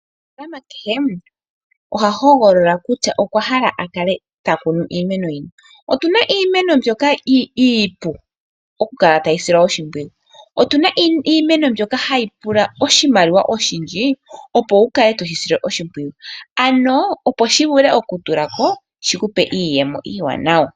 Omunafaalama kehe oha hogolola kutya okwa hala okukala takunu iimeno yini. Otuna iimeno mbyoka iipu okukala tayi silwa oshimpwiyu. Otuna iimeno mbyoka hayi pula oshimaliwa oshindji, opo wukale toshi sile oshimpwiyu. Ano opo shi vule okutulako shikupe iiyemo iiwanawa.